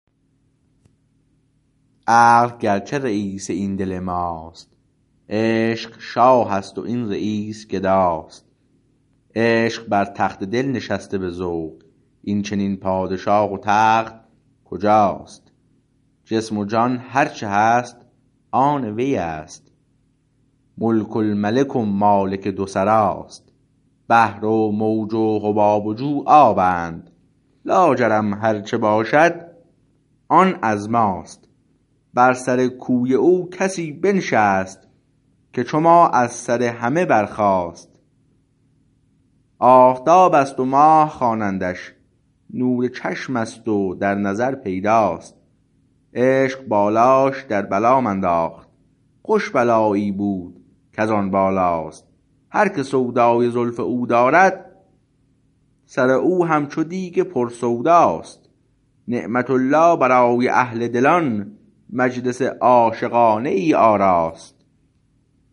عقل گرچه رییس این دل ماست عشق شاه است و این رییس گداست عشق بر تخت دل نشسته به ذوق این چنین پادشاه و تخت کجاست جسم و جان هرچه هست آن ویست ملک الملک و مالک دو سراست بحر و موج و حباب و جو آبند لاجرم هر چه باشد آن از ماست بر سر کوی او کسی بنشست که چو ما از سر همه برخاست آفتابست و ماه خوانندش نور چشمست و در نظر پیداست عشق بالاش در بلام انداخت خوش بلایی بود کزان بالاست هر که سودای زلف او دارد سر او هم چو دیگ پر سوداست نعمت الله برای اهل دلان مجلس عاشقانه ای آراست